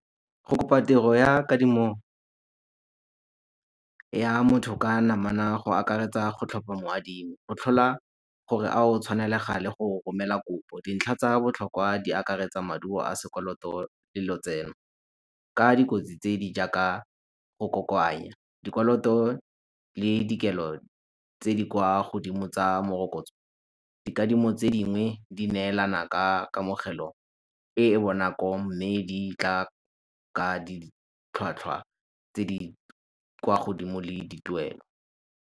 Go kopa tiro ya kadimo ya motho ka namana go akaretsa go tlhopha mo adimi, go tlhola gore a o tshwanelega le go romela kopo. Dintlha tsa botlhokwa di akaretsa maduo a sekoloto le lotseno. Ka dikotsi tse di jaaka go kokoanya dikoloto le dikelo tse di kwa godimo tsa morokotso. Dikadimo tse dingwe di neelana ka kamogelo e e bonako mme di tla ka ditlhwatlhwa tse di kwa godimo le dituelo.